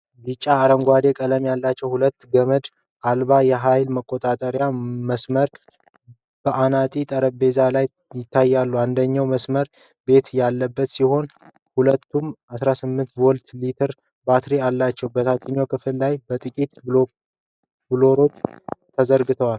ቢጫ-አረንጓዴ ቀለም ያላቸው ሁለት ገመድ አልባ የኃይል መቆፈሪያ/መሰርሰሪያ በአናጢነት ጠረጴዛ ላይ ይታያሉ። አንደኛው መሰርሰሪያ ቢት ያለበት ሲሆን ሁለቱም 18V ሊቲየም ባትሪ አላቸው። በታችኛው ክፍል ላይ ጥቂት ብሎኖች ተዘርግተዋል።